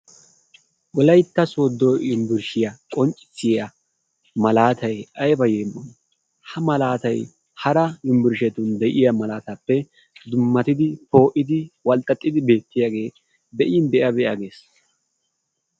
Wolaytta sodo yumburshiya qonccissiya malaatay ayiba yeemoyi. Ha malaatay hara yumburshetun de'iya malaataappe dummatidi, poo'idi, walxxaxxidi beettiyagee be'in be'a be'a ges.